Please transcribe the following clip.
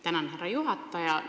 Tänan, härra juhataja!